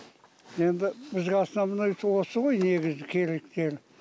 енді бізге основной осы ғой негізі керектері